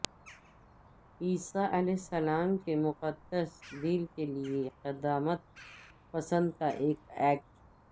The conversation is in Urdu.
عیسی علیہ السلام کے مقدس دل کے لئے قدامت پسند کا ایک ایکٹ